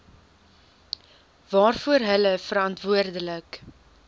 waarvoor hulle verantwoordelik